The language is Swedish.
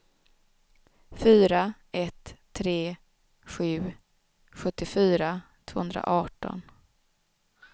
fyra ett tre sju sjuttiofyra tvåhundraarton